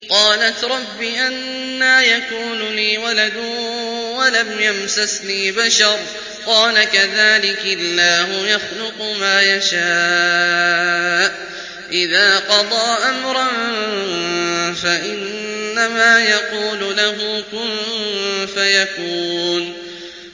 قَالَتْ رَبِّ أَنَّىٰ يَكُونُ لِي وَلَدٌ وَلَمْ يَمْسَسْنِي بَشَرٌ ۖ قَالَ كَذَٰلِكِ اللَّهُ يَخْلُقُ مَا يَشَاءُ ۚ إِذَا قَضَىٰ أَمْرًا فَإِنَّمَا يَقُولُ لَهُ كُن فَيَكُونُ